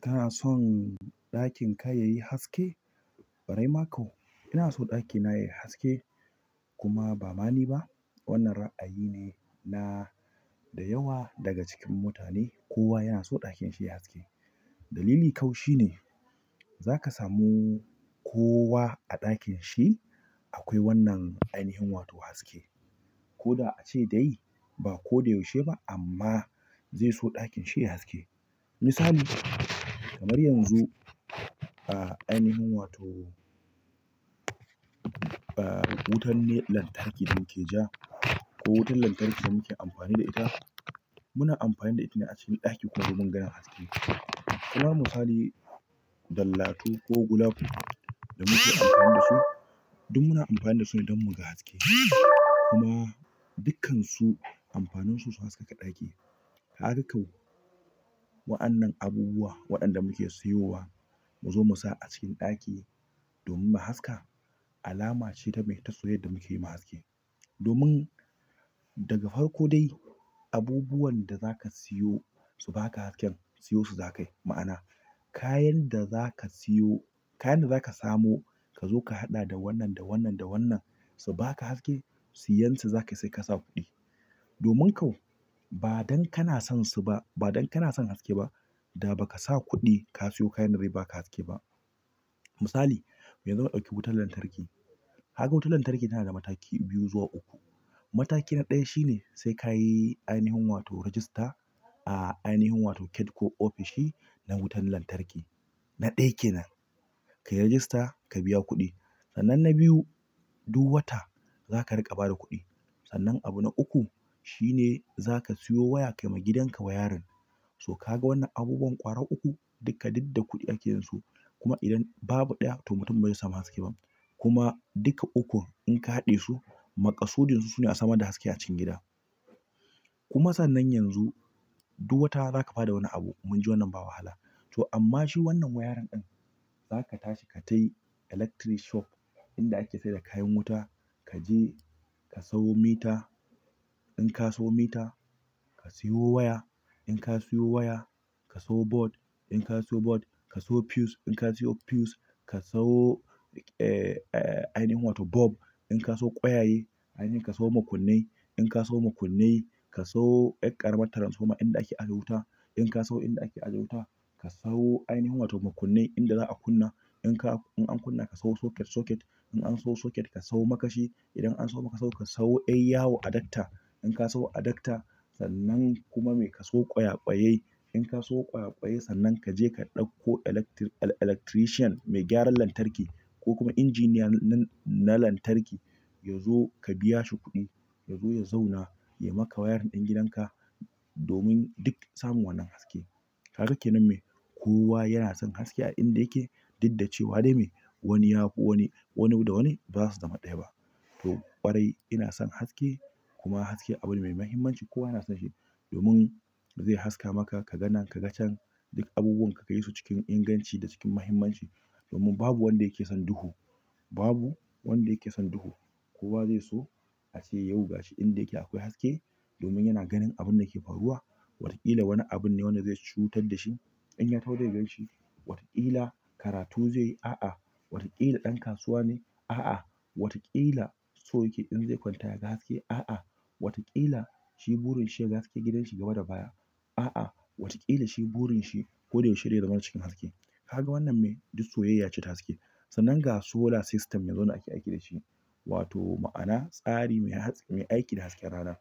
Kana son ɗakin ka yayi haske? Ƙwarai ma kuwa ina son ɗaki na yayi haske kuma ba ma ni ba wannan ra'ayi ne na da yawa daga cikin mutane. Kowa yana so ɗakin shi yayi haske, dalili shi ne zaka samu kowa a ɗakin shi akwai wannan ainihin wato haske ko da ace dai ba ko da yaushe ba amma zai so ɗakin shi ya yi haske. Misali kamar yanzu, ainihin wato. Wutan lantarki da muke ja ko wutar lantarki da muke amfani da ita. Muna amfani da ita ne a cikin ɗaki domin ganin haske kuma misali dallatu ko gulako da muke amfani da su duk muna amfani da su ne don muga haske kuma dukkansu amfanin su su hasaka ɗaki. Harka kau, wa'annan abubuwa waɗanda muke siyowa mu zo mu sa a cikin ɗaki domin haska alama ce ta mai ta soyyaya da mu ke yi ma haske. Domin daga farko dai abubuwan da za ka siyo su ba ka haske, siyo su za ka yi. Ma'ana kayan da za ka siyo, kayan da za ka samo ka zo ka haɗa da wannan, da wannan, da wannan su ba ka haske, siyan su za ka sai ka sa kuɗi. Domin ko ba dan kana son su ba ba dan kana son haske ba da baka sa kuɗi ka siya kayan da zai baka haske ba misali, yanzu mu ɗauki wutar lantarki. Haka wutar lantarki tana da mataki biyu zuwa uku. Mataki na ɗaya shi ne sai kayi ainihin wato rejista a ainihin wato ket ko ofishin na wutar lantarki. Na ɗaya kenan. Ka yi rajista, ka biya kuɗi. Sannan na biyu, duk wata za ka riƙa ba da kuɗi. Sannan abu na uku shine za ka siyo waya kayi ma gidanka wayarin. To ka ga wannan abubuwan ƙwara uku? Duka duk da kuɗi ake yin su. Kuma idan babu ɗaya to mutum ba zai samu haske ba. Kuma duka ukun in ka haɗe su, maka sudun su suna sama da haske a cikin gida. Kuma sannan yanzu duk wata za ka ba da wani abu, mun ji wannan ba wahala. To amma shi wannan wayarin ɗin za ka tashi ka tafi electric shop inda ake sayar da kayan wuta. Ka je ka sayo mita. In ka sayo mita, ka sayo waya. In ka sayo waya, ka sayo board. In ka sayo board, ka sayo fuse. In ka sayo fuse, ka sayo, eh, ainihin wato bulb. In ka sayo ƙwayaye, ka sayo makunnai. In ka sayo makunnai, ka sayo ƙaramin taransfoma inda ake ajiye wuta. In ka sayo inda ake ajiye wuta, ka sayo ainihin wato makunnai inda za a kunna. In ka, in an kunna ka sayo socket socket. In an sayo socket ka sayo makashi. Idan an samo makashi ka sayo eyawa adapter. In ka sayo adapter sannan kuma mai ka sayo ƙwaya ƙwayai. In ka sayo ƙwaya ƙwayai sannan ka je ka ɗauko electric-electrician mai gyaran lantarki ko kuma injiniya na lantarki yazo ka biya shi kuɗi. Yazo ya zauna ya maka wayarin ɗin gidanka domin duk samun wannan haske. Kaga kinan mai, kowa yana son haske a inda yake. Duk da cewa dai mai wani ya fi wani, wani da wani ba za su zama ɗaya ba. To ƙwarai ina son haske kuma haske abu ne mai mahimmanci. Kowa yana son shi domin zai haska maka ka ga nan ka ga can. Duk abubuwan ka kayi su cikin inganci da cikin mahimmanci. Domin babu wanda yake son duhu. Babu wanda yake son duhu. Kowa zai so a ce yau gashi inda yake akwai haske domin yana ganin abun da ke faruwa. Wataƙila wani abun ne wanda zai cutar da shi in ya taho ya gan shi. Wataƙila karatu zai yi. A'a. Wataƙila ɗan kasuwa ne. A'a. Wataƙila so yake in zai kwanta ya ga haske. A'a. Wataƙila shi burin shi ya ga haske gidan shi gaba da baya. A'a. Wataƙila shi burin shi ko da yaushe dai ya zama na cikin haske. Kaga wannan mai duk soyayya ce ta haske. Sannan ga solar system yanzu wanda ake aiki da shi. Wato ma'ana tsari mai aiki da hasken rana.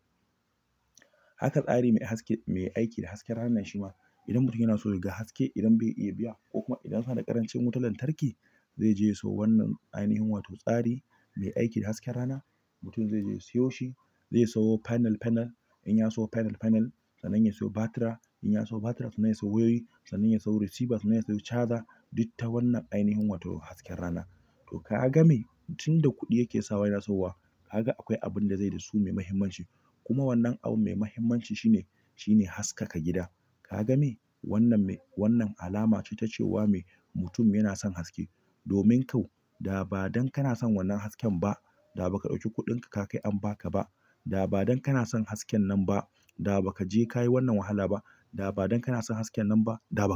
Haka tsari mai haske, mai aiki da hasken rana shima idan mutum yana so ya ga haske, idan bai iya biya ko kuma idan suna da ƙarancin wutar lantarki, zai je ya siyo wannan ainihin wato tsari mai aiki da hasken rana. Mutum zai je ya siyo shi, zai sayo panel panel. In ya sayo panel panel sannan ya sayo batira. In ya sayo batira sannan ya sayo wayoyi. Sannan ya sayo receiver. Sannan ya sayo charger. Duk ta wannan ainihin wato hasken rana. To ka ga mai tunda kuɗi yake sawa yana sayowa. Kaga akwai abin da zai da su mai mahimmanci. Kuma wannan abu mai mahimmanci shine, shine haskaka gida. Ka gani wannan mai, wannan alama ce ta cewa mai mutum yana son haske. Domin kau da ba dan kana son wannan hasken ba da ba ka ɗauki kuɗin ka ka kai an ba ka ba. Da ba dan kana son hasken nan ba da ba ka je ka yi wannan wahala ba. Da ba dan kana son haskenan ba da baka.